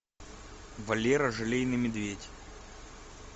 валера желейный медведь